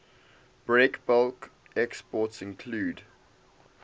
breakbulk exports include